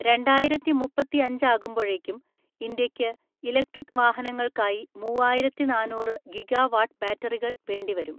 രണ്ടായിരത്തിമുപ്പത്തിഅഞ്ച് ആകുമ്പോഴേക്കും ഇന്ത്യയ്ക്ക് ഇലക്ട്രിക് വാഹനങ്ങൾക്കായി മൂവ്വായിരത്തിനാന്നൂറ് ഗിഗാ വാട്ട് ബാറ്ററികൾ വേണ്ടിവരും.